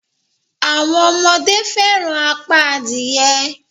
Àwọn ọmọdé fẹràn apá adìye.